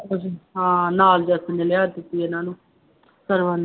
ਹਾਂ ਨਾਲ ਜੱਸ ਨੇ ਲਿਹਾਜ਼ ਕੀਤੀ ਇਹਨਾ ਨੂੰ ਸਰਵਣ